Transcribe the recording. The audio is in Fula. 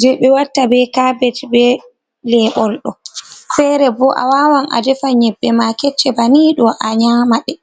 je be watta be kabej be lebol ɗo. Fere bo a wawan a ɗefa nyebbe ma kecce banni ɗo a nyama ɗe.